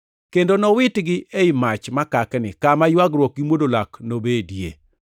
kendo nowitgi ei mach makakni, kama ywagruok gi mwodo lak nobedie.”